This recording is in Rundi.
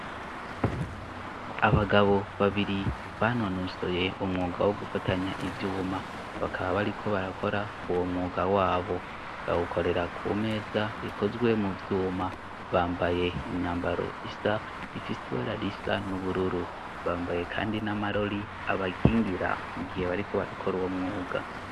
Abagabo babiri banonusoye umwuga wo gufatanya ivyuma bakaba bariko barakora uwo mwuga wabo bagukorera ku meza ikozwe mu vyuma bambaye imyambaro isa ifise iwararisa n'ubururu bambaye, kandi n'amarori abakingira bariko barakora uwo mwuga.